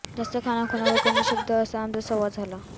जास्त खाणाखुणा व कमी शब्द असा आमचा संवाद झाला